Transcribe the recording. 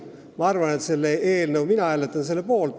Mina hääletan selle eelnõu poolt.